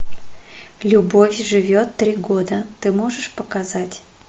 любовь живет три года ты можешь показать